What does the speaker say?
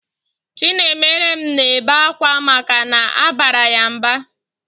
Chinaemerem na-ebe akwa maka na abara ya mba